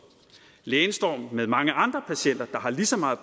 lægen står med mange andre patienter der har lige så meget